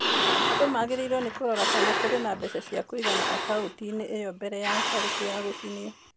Andũ magĩrĩirũo nĩ kũrora kana kũrĩ na mbeca cĩa kũigana akaũnti-inĩ mbere ya tarĩki ya gũtinio.